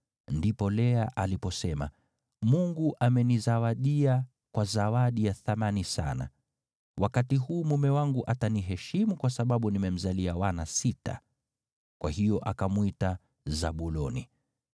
Ndipo Lea aliposema, “Mungu amenizawadia kwa zawadi ya thamani sana. Wakati huu mume wangu ataniheshimu kwa sababu nimemzalia wana sita.” Kwa hiyo akamwita Zabuloni.